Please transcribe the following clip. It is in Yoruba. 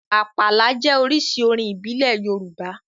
Àpàlà jẹ́ oríṣi orin ìbílẹ̀ Yorùbá.